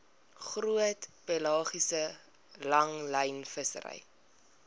groot pelagiese langlynvissery